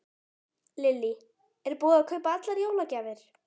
Lillý: Er búið að kaupa allar jólagjafir?